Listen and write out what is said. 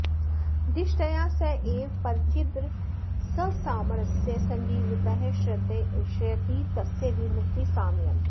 दिष्ट्या स एव परचिद्रससामरस्य सञ्जीवितः श्रयति तस्य विमुक्ति साम्यम्